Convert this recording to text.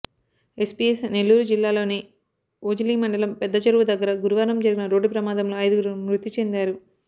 SPS Nellore జిల్లాలోని ఓజిలి మండలం పెద్ద చెరువు దగ్గర గురువారం జరిగిన రోడ్డు ప్రమాదంలో ఐదుగురు మృతి చెందారు